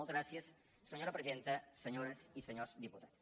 moltes gràcies senyora presidenta senyores i senyors diputats